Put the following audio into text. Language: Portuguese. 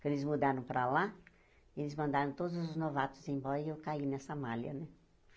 Quando eles mudaram para lá, eles mandaram todos os novatos embora e eu caí nessa malha, né?